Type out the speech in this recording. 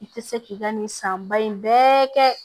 I tɛ se k'i ka nin san ba in bɛɛ kɛ